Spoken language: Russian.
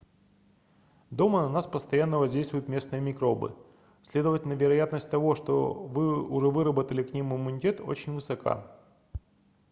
дома на вас постоянного воздействуют местные микробы следовательно вероятность того что вы уже выработали к ним иммунитет очень высока